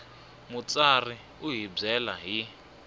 mutsari u hi byela hi